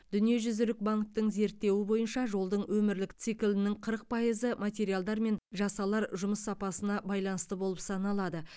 дүниежүзілік банктің зерттеуі бойынша жолдың өмірлік циклінің қырық пайызы материалдар мен жасалар жұмыс сапасына байланысты болып саналады